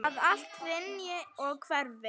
Að allt hrynji og hverfi.